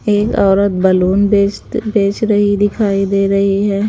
एक औरत बैलून बेचते बेच रही दिखाई दे रही है।